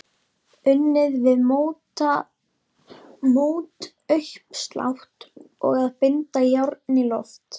Unnið við mótauppslátt og að binda járn í loft.